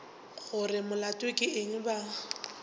gore molato ke eng ba